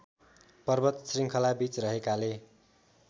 पर्वत श्रृङ्खलाबीच रहेकाले